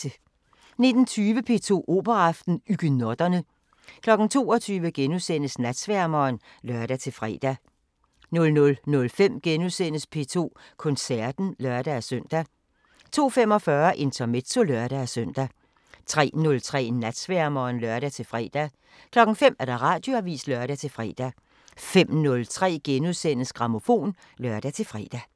19:20: P2 Operaaften: Huguenotterne 22:00: Natsværmeren *(lør-fre) 00:05: P2 Koncerten *(lør-søn) 02:45: Intermezzo (lør-søn) 03:03: Natsværmeren (lør-fre) 05:00: Radioavisen (lør-fre) 05:03: Grammofon *(lør-fre)